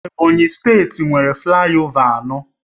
Ebonyi steeti nwere flayova anọ